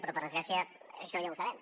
però per desgràcia això ja ho sabem